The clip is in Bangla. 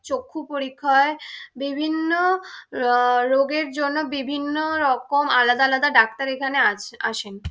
চক্ষু পরীক্ষা হয় বিভিন্ন অ্যা রোগের জন্য বিভিন্ন রকম আলাদা আলাদা ডাক্তার এখানে আছে আসেন ।